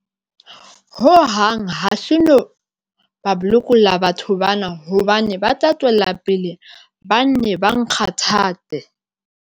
Hohang hase no ba lokolla batho bana hobane ba tla tswela pele ba nne ba nkgathatsa.